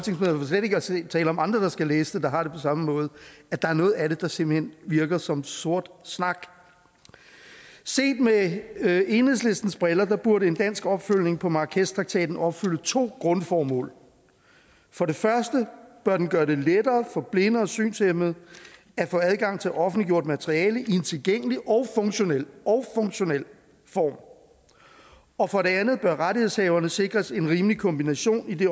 slet ikke at tale om andre der skal læse det der har det på samme måde at der er noget af det der simpelt hen virker som sort snak set med med enhedslistens briller burde en dansk opfølgning på marrakeshtraktaten opfylde to grundformål for det første bør den gøre det lettere for blinde og synshæmmede at få adgang til offentliggjort materiale i en tilgængelig og funktionel og funktionel form og for det andet bør rettighedshaverne sikres en rimelig kompensation i det